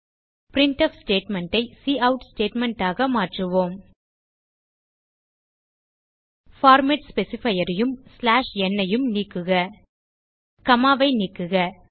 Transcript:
printf statement ஐ cout statement ஆக மாற்றுவோம் பார்மேட் ஸ்பெசிஃபையர் யும் n உம் நீக்குக காமா ஐ நீக்குக